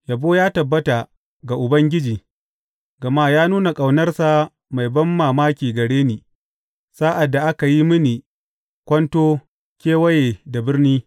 Yabo ya tabbata ga Ubangiji, gama ya nuna ƙaunarsa mai banmamaki gare ni sa’ad da aka yi mini kwanto kewaye da birni.